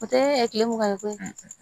O tɛ kile mugan ye koyi